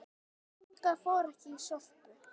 Inga fór ekki í Sorpu.